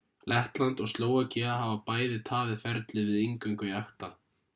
lettland og slóvakía hafa bæði tafið ferlið við inngöngu í acta